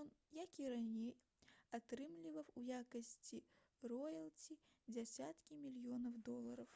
ён як і раней атрымліваў у якасці роялці дзясяткі мільёнаў долараў